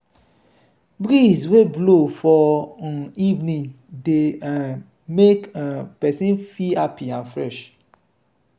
breeze wey blow for um evening dey um make um person feel happy and fresh.